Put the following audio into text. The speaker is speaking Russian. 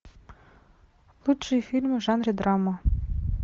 лучшие фильмы в жанре драма